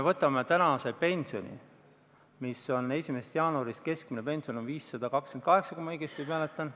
Võtame praeguse pensioni: alates 1. jaanuarist on keskmine pension 528 eurot, kui ma õigesti mäletan.